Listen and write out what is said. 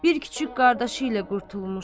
Bir kiçik qardaşı ilə qurtulmuş.